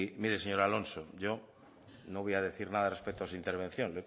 mire señor alonso yo no voy a decir nada respecto a su intervención